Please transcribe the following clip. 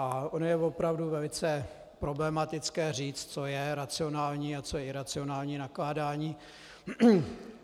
A ono je opravdu velice problematické říct, co je racionální a co je iracionální nakládání.